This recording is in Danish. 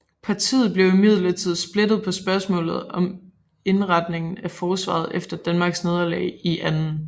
Partiet blev imidlertid splittet på spørgsmålet om indretningen af forsvaret efter Danmarks nederlag i 2